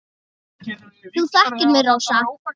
Þú þekkir mig, Rósa.